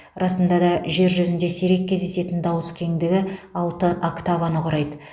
расында да жер жүзінде сирек кездесетін дауыс кеңдігі алты октаваны құрайды